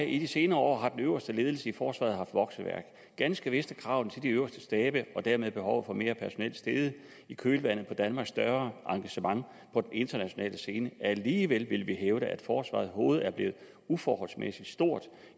i de senere år har den øverste ledelse i forsvaret haft vokseværk ganske vist er kravene til de øverste stabe og dermed behovet for mere personel steget i kølvandet på danmarks større engagement på den internationale scene alligevel vil vi hævde at forsvarets hoved er blevet uforholdsmæssig stort